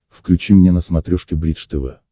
включи мне на смотрешке бридж тв